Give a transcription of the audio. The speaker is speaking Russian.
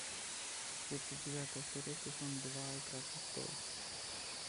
тридцать девятая серия сезон два игра престолов